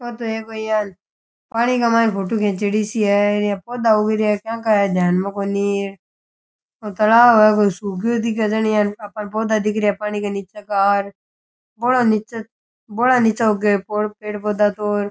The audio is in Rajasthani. ओ तो एक कोई यान पानी के मायने फोटो खिंचेडी सी है ईया पौधा उग रहिया है केंका है ध्यान में कोनी ओ तालाब है कोई सुख गयो दिखे जना ही आपाने पौधा दिख रहिया है पानी के नीचे का बोला नीचे बोला नीचे उगे पेड़ पौधा तो र।